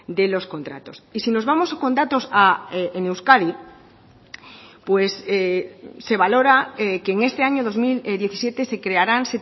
de los contratos y si nos vamos con datos en euskadi pues se valora que en este año dos mil diecisiete se crearán